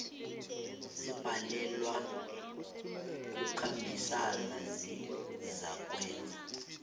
zibhalelwa kukhambisana zizakwenza